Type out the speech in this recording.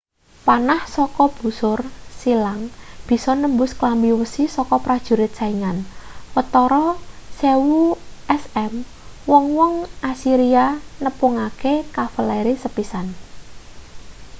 panah saka busur silang bisa nembus klambi wesi saka prajurit saingan watara 1000 sm wong-wong assyria nepungake kavaleri sepisan